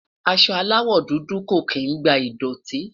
aṣọ alawọ dudu kò kín gba idọti